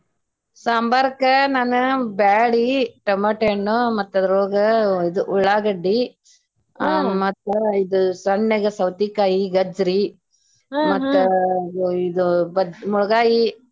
ಸಾಂಬಾರ್ ಕ ನಾನ್ ಬ್ಯಾಳಿ, tomato ಹಣ್ಣು ಮತ್ತ ಅದರೊಳಗ ಇದ ಉಳ್ಳಾಗಡ್ಡಿ ಮತ್ತ ಇದು ಸಣ್ಣಗೆ ಸವತಿಕಾಯಿ, ಗಜ್ಜರಿ ಮತ್ತ ಇದ .